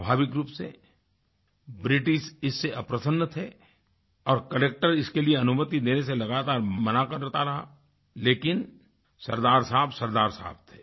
स्वाभाविक रूप से ब्रिटिश इससे अप्रसन्न थे और कलेक्टर इसके लिए अनुमति देने से लगातार मना करता रहा लेकिन सरदार साहब सरदार साहब थे